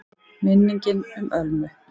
MINNINGIN UM ÖLMU